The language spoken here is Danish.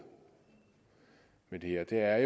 med det her er